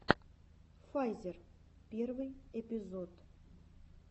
файзер первый эпизод